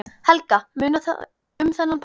Helga: Munar um þennan pall?